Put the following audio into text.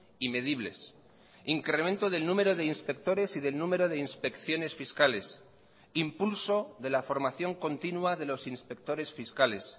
y medibles incremento del número de inspectores y del número de inspecciones fiscales impulso de la formación continua de los inspectores fiscales